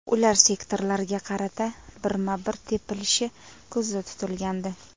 Ular sektorlarga qarata birma-bir tepilishi ko‘zda tutilgandi.